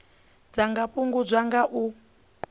dza nga fhungudzwa nga u